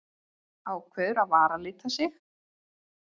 Ákveður að varalita sig.